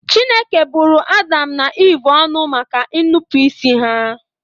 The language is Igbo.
Chineke bụrụ Adam na Eve ọnụ maka ñụpụịsị ha